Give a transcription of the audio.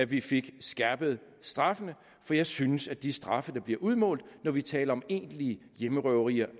vi fik skærpet straffene for jeg synes at de straffe der bliver udmålt når vi taler om egentlige hjemmerøverier